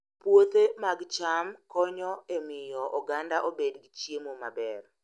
Puothe mag cham konyo e miyo oganda obed gi chiemo maber